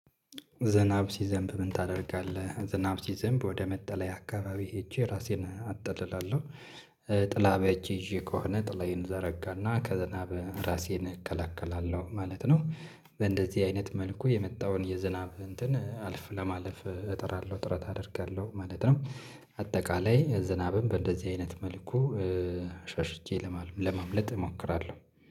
ዝናብ ሲዘንብ ምን ታደርጋለህ? ዝናብ ሲዘንብ ወደ መጠለያ አካባቢ ሄጄ ራሴን አጥልላለሁ ጥላ በእጄ ይዤ ከሆነ ጥላዬን እዘረጋና ከዝናብ ራሴን እከለከላለሁ ማለት ነው በእንደዚህ አይነት መልኩ የመጣውን የዝናብ እንትን አልፍ ለማለፍ እጥራለሁ ጥረት አደርጋለሁ ማለት ነው አጠቃላይ ዝናብም በእንደዚህ አይነት መልኩ ሸሽቼ ለማምለጥ እሞክራለሁ